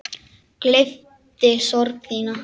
Gleypti sorg þína.